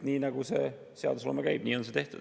Nii nagu see seadusloome käib, nii on seda tehtud.